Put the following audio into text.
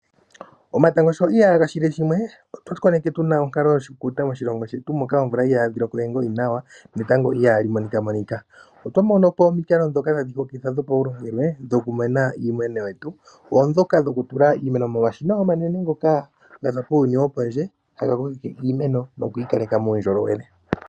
Omatango sho ihaga shile shimwe, otwa koneke tu na onkalo yo shikukuta moshilongo shetu moka omvula ihayi loko we ngoli nawa netango iha li monika monika, otwa mono po omikalo ndhoka tadhi hokitha dho paulongelwe dhokumeneka iimeno yetu, oondhoka dhokutula iimeno momashina omanene, ngoka ge na uuyuni wo pondje haga kokeke iimeno nokuyi kaleka muundjolowele.